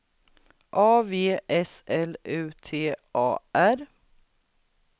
A V S L U T A R